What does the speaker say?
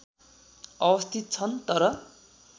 अवस्थित छन् तर